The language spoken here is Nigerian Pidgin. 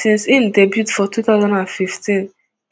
since im debut for two thousand and fifteen